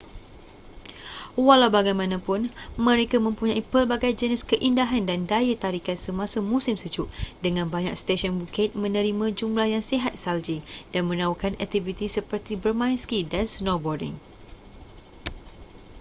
walau bagaimanapun mereka mempunyai pelbagai jenis keindahan dan daya tarikan semasa musim sejuk dengan banyak stesen bukit menerima jumlah yang sihat salji dan menawarkan aktiviti seperti bermain ski dan snowboarding